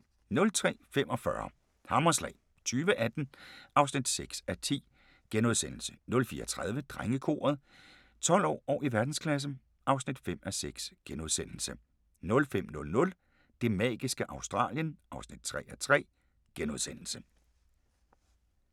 03:45: Hammerslag 2018 (6:10)* 04:30: Drengekoret – 12 år og i verdensklasse (5:6)* 05:00: Det magiske Australien (3:3)*